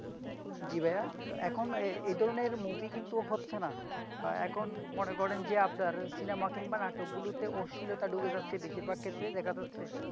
জি ভাইয়া, তো এখন এ ধরণের মুভি কিন্তু হচ্ছে না, এখন মনে করেন যে, আপনার সিনামা কিংবা নাটকগুলোতে অশ্লীলতা ঢুকে যাচ্ছে বেশির ভাগ ক্ষেত্রে দেখা যাচ্ছে।